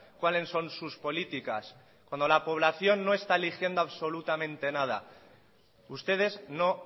cuáles son sus políticas cuando la población no está eligiendo absolutamente nada ustedes no